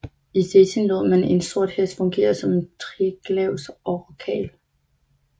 I Stettin lod man en sort hest fungere som Triglavs orakel